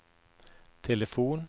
telefon